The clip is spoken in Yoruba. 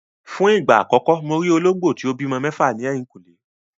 Fún ìgbà àkọ́kọ́ mo rí olóńgbò tí ó bímọ mẹ́fà ní ẹ̀yìnkùlé.